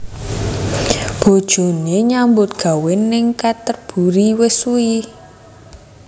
Bojone nyambut gawe ning Canterburry wis suwi